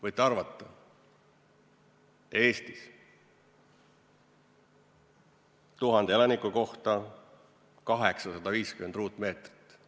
Võite arvata: Eestis, 1000 elaniku kohta 850 ruutmeetrit.